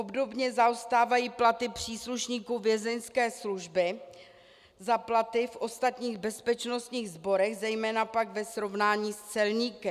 Obdobně zaostávají platy příslušníků Vězeňské služby za platy v ostatních bezpečnostních sborech, zejména pak ve srovnání s celníky.